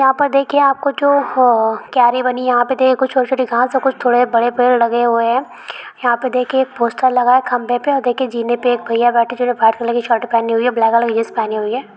यहा पर देखिऐ आपको जो कियारी बनी है यहा पे देखिये कुछ छोटी छोटी घास और कुछ थोड़े बड़े पेड़ लगे हुवे है यहा पर देखिऐ एक पोस्टर लगा है खम्भे पे और देखिये जीने पे एक भैया बेठे हुए है वाईट कलर की शर्ट और ब्लेक कलर की जींस पहेनी हुई है।